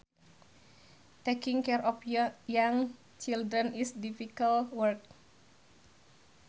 Taking care of young children is difficult work